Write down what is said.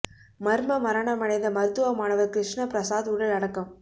மர்ம மரணமடைந்த மருத்துவ மாணவர் கிருஷ்ண பிரசாத் உடல் அடக்கம்